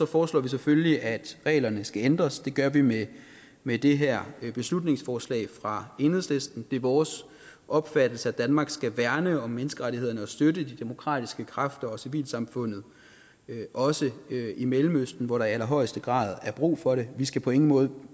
foreslår vi selvfølgelig at reglerne skal ændres det gør vi med med det her beslutningsforslag fra enhedslisten det er vores opfattelse at danmark skal værne om menneskerettighederne og støtte de demokratiske kræfter og civilsamfundet også i mellemøsten hvor der i allerhøjeste grad er brug for det vi skal på ingen måde